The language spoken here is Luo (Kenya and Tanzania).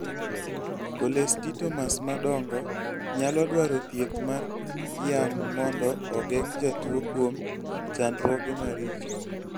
cholesteatomas madongo nyalo dwaro thieth mar yang' mondo ogeng' jatuwo kuom chandruoge maricho